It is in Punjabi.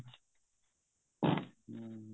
ਹਮ